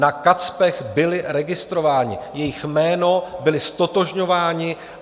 Na Kacpech byli registrováni, jejich jméno, byli ztotožňováni.